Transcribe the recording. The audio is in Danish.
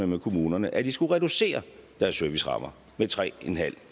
med kommunerne at de skulle reducere deres servicerammer med tre